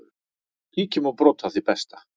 Kíkjum á brot af því besta.